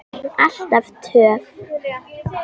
Alltaf töff.